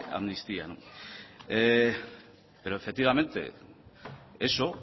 amnistía pero efectivamente eso